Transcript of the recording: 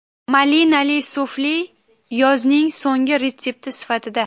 Malinali sufle yozning so‘nggi retsepti sifatida.